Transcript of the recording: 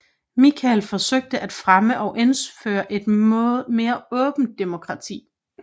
Michel forsøgte at fremme og indføre et mere åbent demokrati